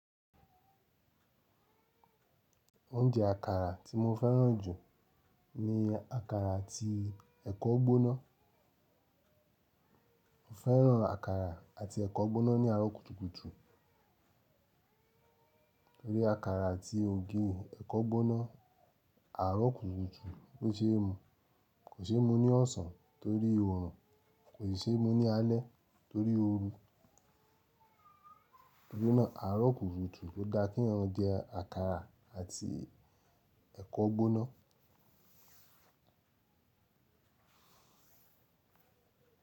Oúnjẹ àkàrà tí mo fẹ́ràn jù ni àkàrà àti ẹ̀kọ gbóná. Mo fẹ́ràn àkàrà àti ẹ̀kọ gbóná ní àárọ̀ kùtùkùtù torí àkàrà àti ògì ẹ̀kọ gbóná àárọ̀ kùtùkùtù ló ṣe é mu. Kò ṣe é mú ní ọ̀sán torí oòrùn, kò ṣe é mú ní alẹ́ torí ooru. Torí náà, àárọ̀ kùtùkùtù ló da kí eyan ma jẹ àkàrà àti ẹ̀kọ gbóná.